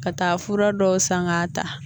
Ka taa fura dɔw san k'a ta